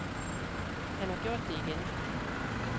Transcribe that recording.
Han har gjort det igen.